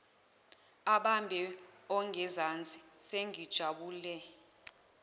abambe ongezansi sengijabule